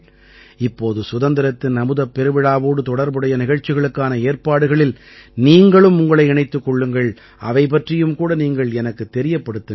இப்போது சுதந்திரத்தின் அமுதப் பெருவிழாவோடு தொடர்புடைய நிகழ்ச்சிகளுக்கான ஏற்பாடுகளில் நீங்களும் உங்களை இணைத்துக் கொள்ளுங்கள் அவை பற்றியும் கூட நீங்கள் எனக்குத் தெரியப்படுத்துங்கள்